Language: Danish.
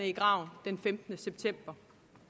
i graven den femtende september